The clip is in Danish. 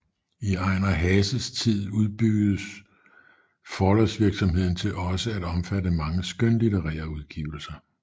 I Ejnar Haases tid udbygges forlagsvirksomheden til også at omfatte mange skønlitterære udgivelser